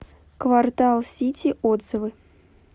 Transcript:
квартал сити отзывы